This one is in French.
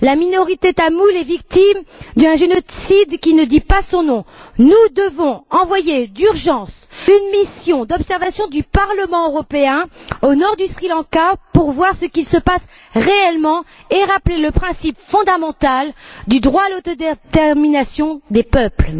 La minorité tamoule est victime d'un génocide qui ne dit pas son nom. Nous devons envoyer d'urgence une mission d'observation du Parlement européen au nord du Sri Lanka pour voir ce qui s'y passe réellement et rappeler le principe fondamental du droit à l'autodétermination des peuples.